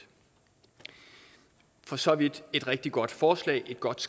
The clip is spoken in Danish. for så vidt er et rigtig godt forslag et godt